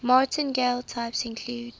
martingale types include